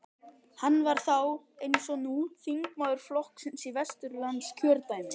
Hann var þá, eins og nú, þingmaður flokksins í Vesturlandskjördæmi.